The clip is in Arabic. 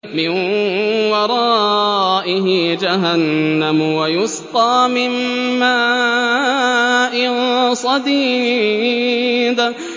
مِّن وَرَائِهِ جَهَنَّمُ وَيُسْقَىٰ مِن مَّاءٍ صَدِيدٍ